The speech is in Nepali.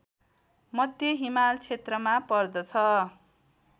मध्य हिमाल क्षेत्रमा पर्दछ